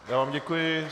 Já vám děkuji.